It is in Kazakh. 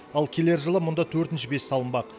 ал келер жылы мұнда төртінші пеш салынбақ